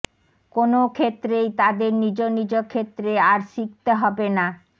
কোনও ক্ষেত্রেই তাদের নিজ নিজ ক্ষেত্রে আর শিখতে হবে না